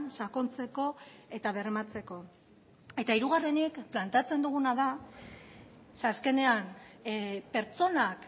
sakontzeko eta bermatzeko eta hirugarrenik planteatzen duguna da ze azkenean pertsonak